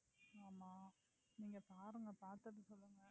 ஆமா நீங்க பாருங்க பாத்துட்டு சொல்லுங்க